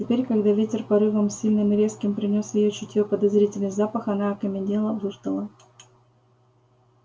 теперь когда ветер порывом сильным и резким принёс в её чутье подозрительный запах она окаменела выждала